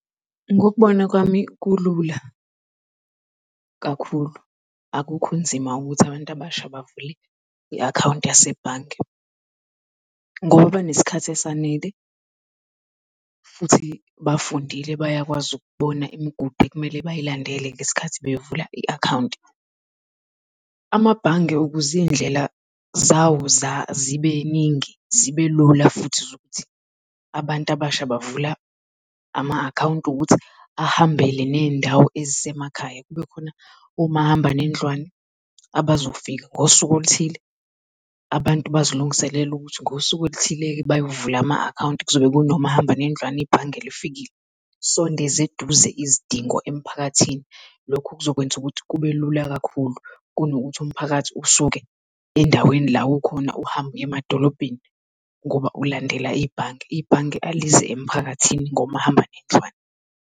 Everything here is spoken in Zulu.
Ngokubona kwami kulula kakhulu, akukho kunzima ukuthi abantu abasha bavule i-akhawunti yasebhange. Ngoba banesikhathi esanele futhi bafundile bayakwazi ukubona imigudu ekumele bayilandelela ngesikhathi bevula i-akhawunti. Amabhange ukuziy'ndlela zawo zibeningi zibe lula futhi ukuthi abantu abasha bavula ama account ukuthi ahambele neyndawo ezisemakhaya, kube khona omahamba nendlwane abazofika ngosuku oluthile abantu bazilungiselele ukuthi ngosuku oluthile bayovula ama account kuzobe kuno mahamba nendlwane ibhange lifikile, sondezeduze izidingo emphakathini, lokhu kuzokwenza ukuthi kube lula kakhulu kunokuthi umphakathi usuke endaweni la ukhona uhambe uyemadolobheni, ngoba ulandelela ibhange, ibhange alize emphakathini ngomahamba nendlwane.